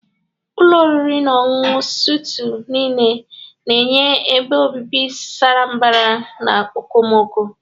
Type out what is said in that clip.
Ụlọ oriri na ọṅụṅụ suitu nile na-enye ebe obibi sara mbara na okomoko.